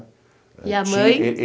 E a mãe?